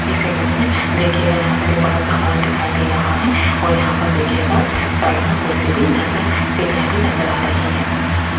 इस इमेज में देखियेगा यहाँ पर एक बड़ा सा हॉल दिखाई दे रहा है और यहाँ पर देखियेगा साइड में कुर्सी भी नजर सीढ़ीया भी नजर आ रही हैं।